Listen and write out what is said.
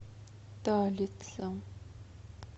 талица